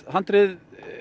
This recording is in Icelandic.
handrið